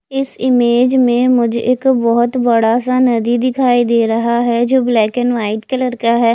इस इमेज में मुझे एक बहोत बड़ा सा नदी दिखाई दे रहा है जो ब्लैक एंड व्हाइट कलर का है।